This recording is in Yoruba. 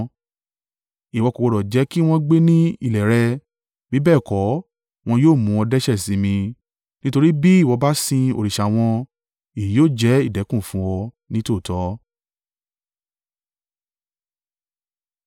Ìwọ kò gbọdọ̀ jẹ́ kí wọn gbé ni ilẹ̀ rẹ, bí bẹ́ẹ̀ kọ́, wọn yóò mú ọ dẹ́ṣẹ̀ sí mi: nítorí bí ìwọ bá sin òrìṣà wọn, èyí yóò jẹ́ ìdẹ̀kùn fun ọ nítòótọ́.”